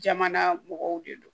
Jamana mɔgɔw de don